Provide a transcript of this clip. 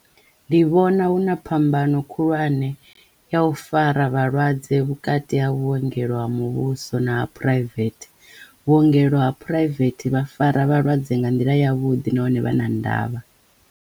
Ndi vhona huna phambano khulwane ya u fara vhalwadze vhukati ha vhuongelo ha muvhuso na private vhuongelo ha private vha fara vhalwadze nga nḓila yavhuḓi nahone vha na ndavha.